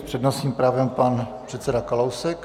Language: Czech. S přednostním právem pan předseda Kalousek.